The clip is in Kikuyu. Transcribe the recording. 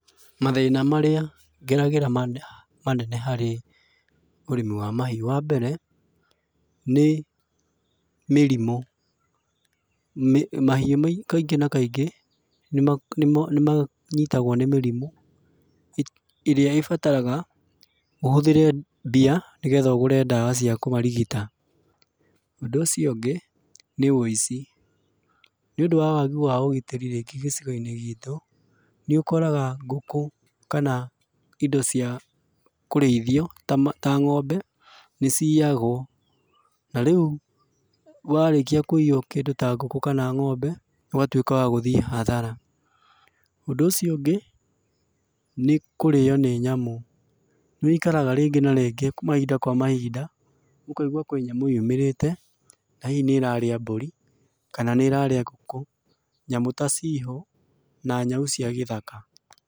Mathĩna marĩa ngeragĩra manene harĩ ũrĩmi wa mahiũ. Wambere, nĩ mĩrimũ. Mahiũ kaingĩ na kaingĩ, nĩmanyitagũo nĩ mĩrimũ, ĩrĩa ĩbataraga, ũhũthĩre mbia nĩgetha ũgũre ndawa cia kũmarigita. Ũndũ ũcio ũngĩ, nĩ wĩici. Nĩũndũ wa wagi wa ũgitĩri rĩngĩ gĩcigo-inĩ gitũ, nĩũkoraga, ngũkũ, kana indo cia, kũrĩithio, ta ma, ta ngombe, nĩciyagũo. Narĩũ, warĩkia kũiyũo kĩndũ ta ngũkũ kana ngombe, ũgatuĩka wa gũthiĩ hathara. Ũndũ ũcio ũngĩ, nĩ kũrĩo nĩ nyamũ. Nĩwĩikaraga rĩngĩ na rĩngĩ mahinda kwa mahinda, ũkaigua kwĩ nyamũ yumĩrĩte, na hihi nĩrarĩa mbũri, kana nĩĩrarĩa ngũkũ. Nyamũ ta cihũ, na nyau cia gĩthaka.